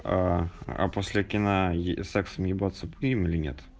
а после кино сексом ебаться будем или нет